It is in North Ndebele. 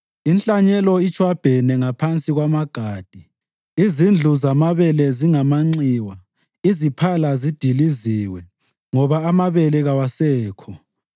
Inhlanyelo itshwabhene ngaphansi kwamagade. Izindlu zamabele zingamanxiwa, iziphala zidiliziwe, ngoba amabele kawasekho.